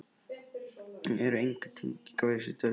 Þetta eru engar tengingar við þessi dauðsföll.